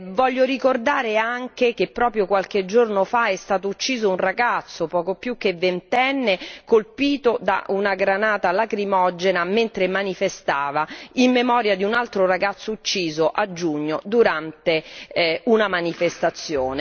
Voglio ricordare anche che proprio qualche giorno fa è stato ucciso un ragazzo, poco più che ventenne, colpito da una granata lacrimogena mentre manifestava, in memoria di un altro ragazzo ucciso a giugno durante una manifestazione.